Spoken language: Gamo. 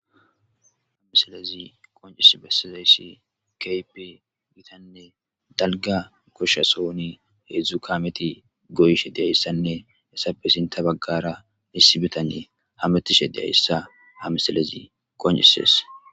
hamisalezi qoncis bassazayssi kaypi gitanne dalga goshsha sooni heedzdzu kameti goyishe deyayssanne essappe sinta baggara misi bitanne hametishe deyayssa ha misalezi qoncisees